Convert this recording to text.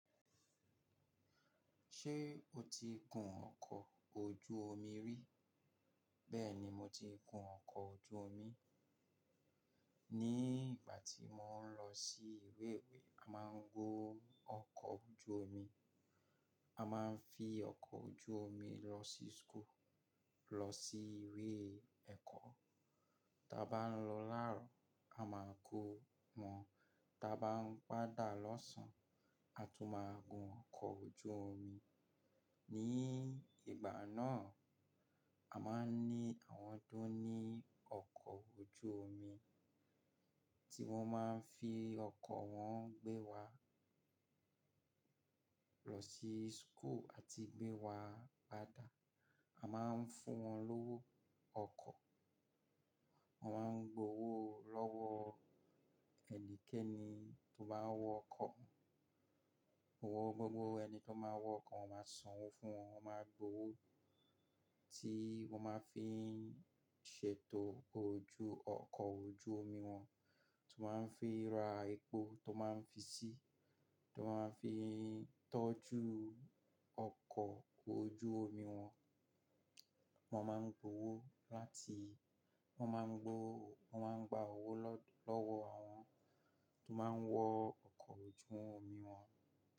Ṣé o ti gun ọkọ̀ ojú omi rí? Bẹ́ẹ̀ni, mo ti kun ọkọ̀ ojú omi. Ni ìgbà tí mo ń lọ sí ìlé ìwé a máa ń gun ọkọ̀ ojú omi. A máa ń fi ọkọ̀ ojú omi lọ sí school, lọ sí ìwé ẹ̀kọ́. Tí a bá ń lọ láàárọ̀ a máa ń kó wọn, tí a bá ń padà lọ̀sán a tún máa gun ọkọ̀ ojú omi. Ni ìgbà náà, a máa ń ní àwọn tó ní ọkọ̀ ojú omi tí wọ́n máa ń fi ọkọ̀ wọn gbé wa lọ sí school àti gbé wa padà. A máa ń fún wọn lówó ọkọ̀, wọ́n máa ń gbowó lọ́wọ́ ẹnikẹ́ni tó bá wọ ọkọ̀. Wọ́n máa sanwó fún wọn, wọ́n máa gbowó tí wọ́n máa fi ń ṣètò ojú ọkọ̀ ojú omi wọn, tí wọ́n máa ń fi ra epo tí wọ́n máa ń fi sí i, tí wọ́n máa fi ń tọ́jú ọkọ̀ ojú omi wọn. Wọ́n máa ń gbowó láti wọ́n máa ń gbowó, wọ́n máa ń gba owó lọ́wọ́ àwọn tó máa ń wọ ọkọ̀ ojú omi wọn.